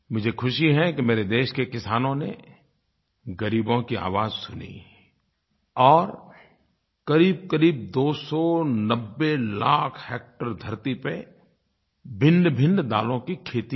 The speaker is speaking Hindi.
मुझे ख़ुशी है कि मेरे देश के किसानों ने ग़रीबों की आवाज़ सुनी और क़रीबक़रीब दो सौ नब्बे लाख हेक्टेयर धरती पर भिन्नभिन्न दालों की खेती की